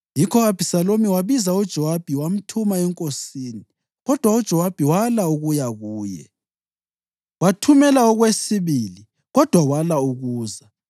Yikho u-Abhisalomu wabiza uJowabi wamthuma enkosini, kodwa uJowabi wala ukuya kuye. Wathumela okwesibili, kodwa wala ukuza.